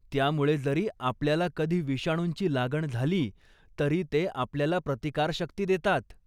त्यामुळे जरी आपल्याला कधी विषाणूंची लागण झाली तरी ते आपल्याला प्रतिकारशक्ती देतात.